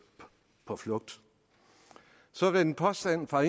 på flugt så er der en påstand fra